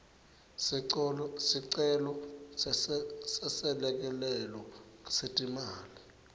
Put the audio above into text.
sicelo seselekelelo setimali